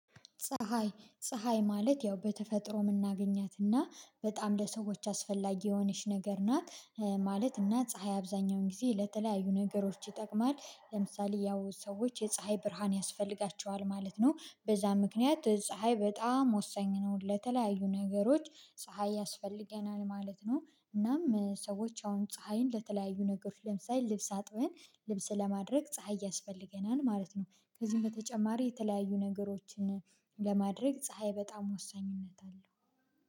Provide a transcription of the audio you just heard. ፀሀይ ፀሀይ ማለት ያው በተፈጥሮ የምናገኛትና በጣም ለሰዎች አስፈላጊ የሆነች ነገር ናት። ማለት እና ፀሀይ አብዛኛውን ጊዜ ለተለያዩ ነገሮች ይጠቅማል ለምሳሌ ያው ሰዎች የፀሀይ ብርሃን ያስፈልጋቸዋል ማለት ነው። በዛ ምክንያት ፀሀይ በጣም ወሳኝ ነው ለተለያዩ ነገሮች ፀሀይ ያስፈልገናል ማለት ነው። እናም ሰዎች አሁን ፀሀይን ለተለያዩ ነገሮች ለምሳሌ ልብስ አጥበን ልብስ ለማድረቅ ፀሀይ ያስፈልገናል ማለት ነው። ከዚህም በተጨማሪ የተለያዩ ነገሮችን ለማድረግ ፀሀይ በጣም ወሳኝነት አለው